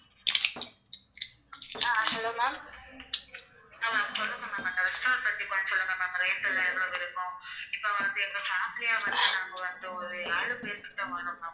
கொறஞ்சது ஒரு ஏழு பேர் கிட்ட வர்றோம்.